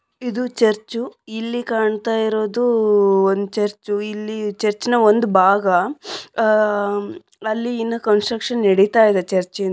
ಇಂದು church ಇಲ್ಲಿ ಕಾಣ್ತಾ ಇರೋದು ಒಂದು ಚರ್ಚು . ಇಲ್ಲಿ ಚರ್ಚಿನ ಒಂದು ಭಾಗ . ಅಹ್ ಅಲ್ಲಿನ ಕನ್ಸ್ಟ್ರಕ್ಷನ್ ನಡೀತಾ ಇದೆ ಚರ್ಚೆ ಇಂದು.